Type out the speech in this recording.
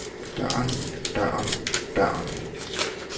døren døren døren